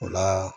O la